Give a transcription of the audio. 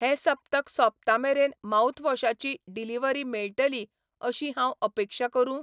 हें सप्तक सोंपता मेरेन माउथवॉशाची ची डिलिव्हरी मेळटली अशी हांव अपेक्षा करूं?